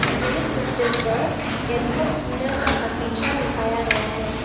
मुझे तस्वीर पर एक बहोत सुंदर सा बगीचा दिखाया गया है।